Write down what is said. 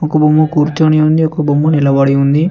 ఒక బొమ్మ కూర్చొని ఉంది ఒక బొమ్మ నిలబడి ఉంది.